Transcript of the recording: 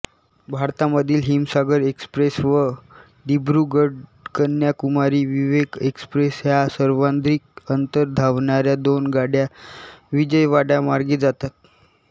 भारतामधील हिमसागर एक्सप्रेस व दिब्रुगढकन्याकुमारी विवेक एक्सप्रेस ह्या सर्वाधिक अंतर धावणाऱ्या दोन गाड्या विजयवाडामार्गे जातात